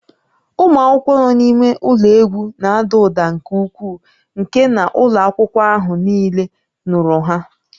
Ụmụ akwụkwọ nọ n'ime ụlọ egwu na-ada ụda nke ukwuu nke na ụlọ akwụkwọ ahụ niile nụrụ ha